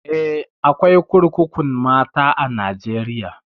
Eh, akwai kurkukun mata a Najeriya.